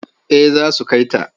Eh za su kai ta.